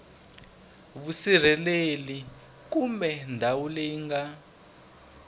vusirheleri kumbe ndhawu leyi nga